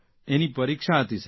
એની પરીક્ષા હતી સર